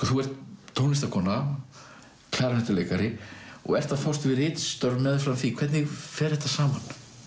þú ert tónlistarkona og ert að fást við ritstörf meðfram því hvernig fer þetta saman